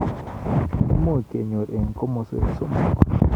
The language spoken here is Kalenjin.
Imuch kenyorun eng komaswek somok.